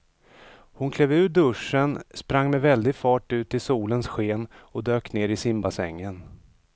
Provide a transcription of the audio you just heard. Hon klev ur duschen, sprang med väldig fart ut i solens sken och dök ner i simbassängen.